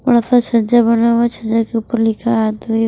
बड़ा सा छज्जा बना हुआ छज्जा के ऊपर लिखा --